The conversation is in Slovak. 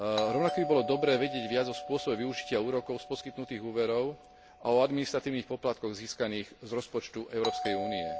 Rovnako by bolo dobré vedieť viac o spôsobe využitia úrokov z poskytnutých úverov a o administratívnych poplatkoch získaných z rozpočtu Európskej únie.